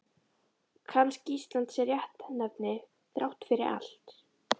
Kannski Ísland sé réttnefni þrátt fyrir allt.